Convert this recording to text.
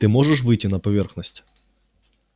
ты можешь выйти на поверхность